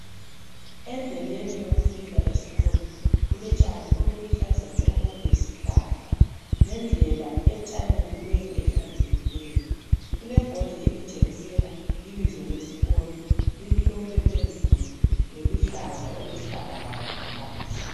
Endleleni yokufika esikolo kulotshani oluluhlaza tshoko lesihlahla lendlela ethanyeliweyo, ehlanzekileyo. Kulebhodi elitshengisela ibizo lesikolo, limhlophe phezulu loluhlaza olwesibhakabhaka ngaphansi.